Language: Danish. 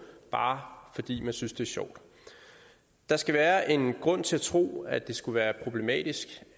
bare fordi man synes det er sjovt der skal være en grund til at tro at det skulle være problematisk